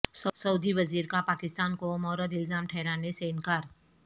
سعودی وزیر کا پاکستان کو مورد الزام ٹھہرانے سے انکار